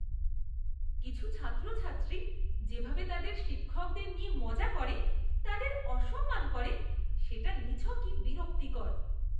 কিছু ছাত্রছাত্রী যেভাবে তাদের শিক্ষকদের নিয়ে মজা করে তাদের অসম্মান করে, সেটা নিছকই বিরক্তিকর।